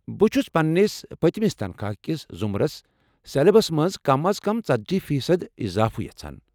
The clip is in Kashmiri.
بہٕ چھس پننس پٔتِمِس تنخواہ کِس ضٖمرس سلیبس منٛز کم از کم ژتجی فی صد اضافہٕ یژھان